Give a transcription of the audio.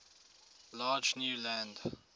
large new land